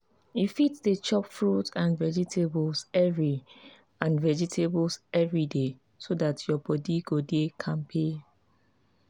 you fit dey chop fruit and vegetables every and vegetables every day so dat your body go dey kampe.